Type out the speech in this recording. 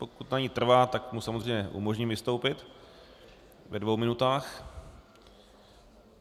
Pokud na ní trvá, tak mu samozřejmě umožním vystoupit ve dvou minutách.